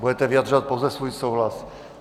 Budete vyjadřovat pouze svůj souhlas.